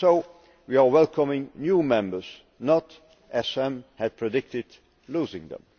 So, we are welcoming new members, and not as some had predicted losing them!